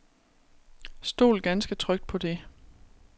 Stol ganske trygt på det.